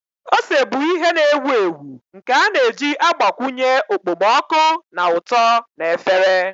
Ose bụ ihe na-ewu ewu nke a na-eji agbakwunye okpomọkụ na ụtọ na efere.